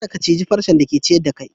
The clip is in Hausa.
Kadda ka cije farcen da ke ciyar da kai!